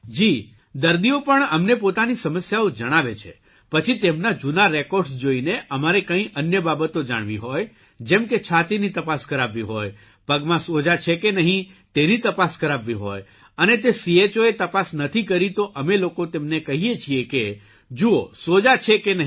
જી દર્દીઓ પણ અમને પોતાની સમસ્યાઓ જણાવે છે પછી તેમના જૂના રેકોર્ડસ જોઇને અમારે કંઇ અન્ય બાબતો જાણવી હોય જેમ કે છાતીની તપાસ કરાવવી હોય પગમાં સોજા છે કે નહીં તેની તપાસ કરાવવી હોય અને તે ચો એ તપાસ નથી કરી તો અમે લોકો તેમને કહીએ છીએ કે જુવો સોજા છે કે નહીં